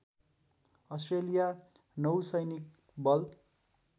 Australia नौसैनिक बल